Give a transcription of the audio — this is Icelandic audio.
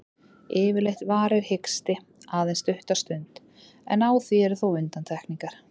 Yfirleitt varir hiksti aðeins stutta stund, en á því eru þó undantekningar.